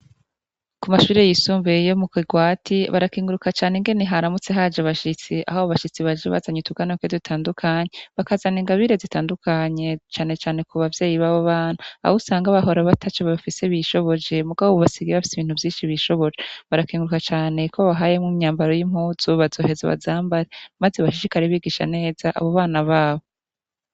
Ku mashuri yisumbuye iyo mu kigwati barakenguruka cane ingene haramutse haje abashitsi aho abo bashitsi baje bazanye utuganoke dutandukanye bakazana ingabire zitandukanye canecane ku bavyeyi b'abo bana abo usanga bahora ataco bafise bishoboje mugabo ubu basigiye bafise ibintu vyinshi bishoboje barakenguruka cane ko bahayemwo imyambaro y'impuzu bazoheza bazambare, maze bashishikare bigisha neza abo bana babo.